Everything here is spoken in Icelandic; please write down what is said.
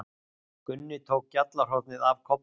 Gunni tók gjallarhornið af Kobba.